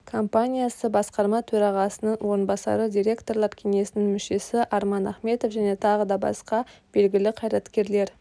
компаниясы басқарма төрағасының орынбасары директорлар кеңесінің мүшесі арман ахметов және тағы да басқа белгілі қайраткерлер